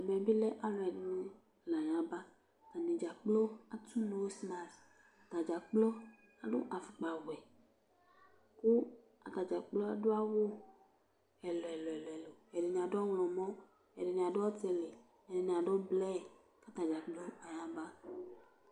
ɛmɛ bi lɛ alo ɛdini la ya ba atani dza kplo ato noz mask atadza kplo ado afukpa wɛ kò atadza kplo adu awu ɛlò ɛlò ɛlò ɛdini adu ɔwlɔmɔ ɛdini adu ɔtili ɛdini adu blu k'atadza kplo aya ba